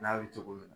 N'a bɛ cogo min na